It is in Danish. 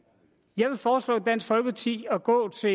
jeg vil foreslå dansk folkeparti at gå til